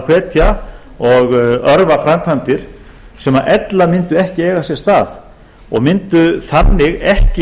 hvetja og örva framkvæmdir sem ella mundu ekki eiga sér stað og mundu þannig ekki